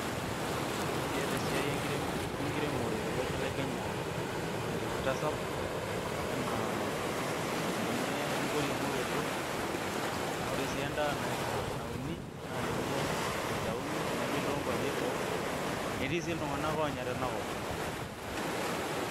Keeta esiai enkiremore tolosho le Kenya enkipirta sapuk enaa ninye enkoriong' olosho naa Ore sii endaa naitauni nemiri tonkuapi eboo netii sii iltung'anak oonya tenakop.